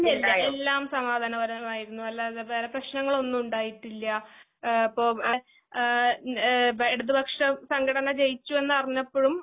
ഇല്ലില്ല. എല്ലാംസമാധാനപരമായിരുന്നു. അല്ലാതെ വേറെപ്രേശ്നങ്ങളൊന്നും ഉണ്ടായിട്ടില്യാ. ഏപ്പൊ ൻഏ ഏഹ് പ്പഇടതുപക്ഷംസംഘടനജയിച്ചുയെന്നറിഞ്ഞപ്പഴും